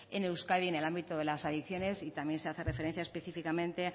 en euskadi en el ámbito de las adicciones y también se hace referencia específicamente